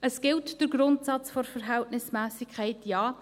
Es gilt der Grundsatz der Verhältnismässigkeit, ja.